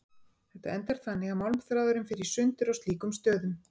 Þetta endar þannig að málmþráðurinn fer í sundur á slíkum stöðum.